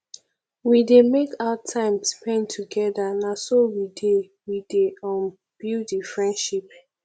we dey make out time spend togeda na so we dey we dey um build di friendship